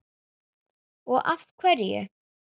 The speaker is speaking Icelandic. og af hverju?